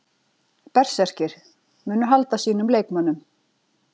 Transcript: Berserkir: Munu halda sínum leikmönnum.